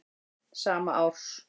sama árs.